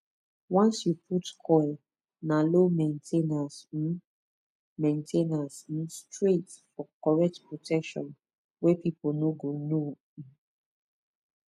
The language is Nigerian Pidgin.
once you put coil na low main ten ance um main ten ance um straight for correct protection wey people no go know um